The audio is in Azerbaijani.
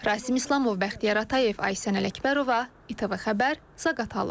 Rasim İslamov, Bəxtiyar Atayev, Aysən Ələkbərova, ATV Xəbər, Zaqatala.